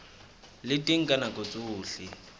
le teng ka nako tsohle